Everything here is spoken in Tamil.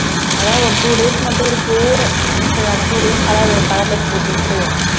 அதான் ஒரு two days மட்டும் இருக்கு சரி அந்த two days color colour dress போட்டுவிட்டு